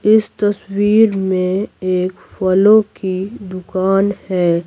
इस तस्वीर में एक फलों की दुकान है।